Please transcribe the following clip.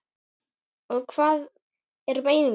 Og hvað er menning?